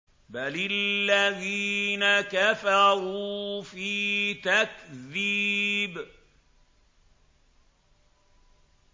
بَلِ الَّذِينَ كَفَرُوا فِي تَكْذِيبٍ